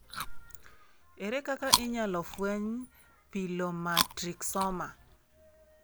Ere kaka inyalo fweny pilomatrixoma?